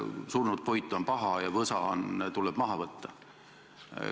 Surnud puit on paha ja võsa tuleb maha võtta.